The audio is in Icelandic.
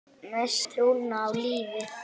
Missti trúna á lífið.